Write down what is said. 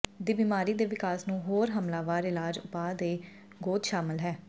ਦੀ ਬਿਮਾਰੀ ਦੇ ਵਿਕਾਸ ਨੂੰ ਹੋਰ ਹਮਲਾਵਰ ਇਲਾਜ ਉਪਾਅ ਦੇ ਗੋਦ ਸ਼ਾਮਲ ਹੈ